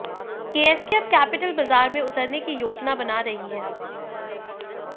KSK अब capital बाजार में उतरने की योजना बना रही है